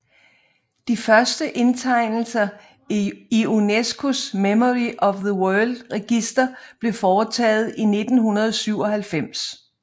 De første indtegnelser i UNESCOs Memory of the World Register blev foretaget i 1997